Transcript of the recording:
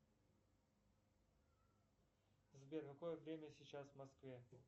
сбер какое время сейчас в москве